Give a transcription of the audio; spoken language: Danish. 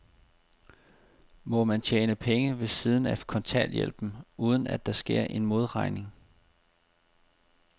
Må man tjene penge ved siden af kontanthjælpen, uden at der sker en modregning?